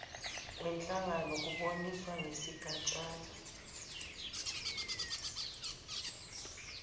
wenhlangano kuboniswane ngesigatshana